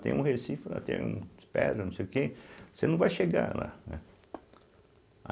Tem um recife lá, tem um pedras, não sei o quê, você não vai chegar lá. né